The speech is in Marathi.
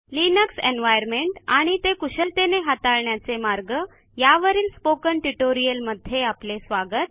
लिनक्स एन्व्हायर्नमेंट आणि ते कुशलतेने हाताळण्याचे मार्ग यावरील स्पोकन ट्युटोरियलमध्ये आपले स्वागत